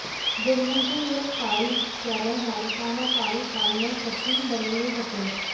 दुर्गंधीयुक्त पाणी घुसल्याने नागरिकांना पाणी काढणे कठीण बनले होते